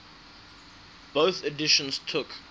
bofh editions took